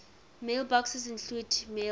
mailboxes include maildir